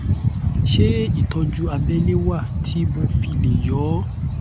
ṣé ìtọjú abẹlé wà tí mo fi lè yọ ọ